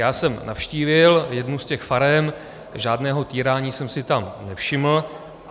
Já jsem navštívil jednu z těch farem, žádného týrání jsem si tam nevšiml.